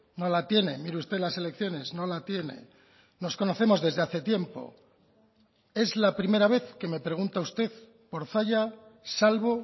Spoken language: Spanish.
no la tiene mire usted las selecciones no la tiene nos conocemos desde hace tiempo es la primera vez que me pregunta usted por zalla salvo